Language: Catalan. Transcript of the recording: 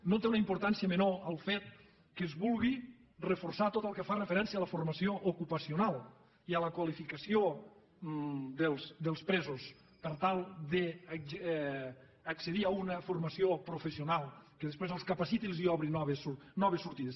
no té una importància menor el fet que es vulgui reforçar tot el que fa referència a la formació ocupacional i a la qualificació dels presos per tal d’accedir a una formació professional que després els capaciti i els obri noves sortides